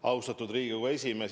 Austatud Riigikogu esimees!